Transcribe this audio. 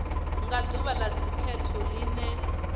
nga ḓuvha ḽa dzikhetho ḽine